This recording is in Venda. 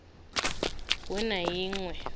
we na i ṅ we